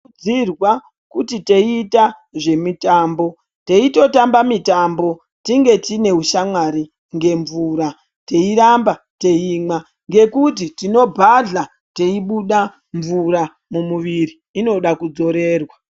Tino kurudzirwa irwa kuti teiita zvemitambo teitotamba mitambo tinge tine ushamwari ngemvura teiramba teimwa ngekuti tinobhahla teibuda mvura mumuviri inoda kudzorerwa.